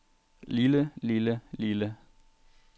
lille lille lille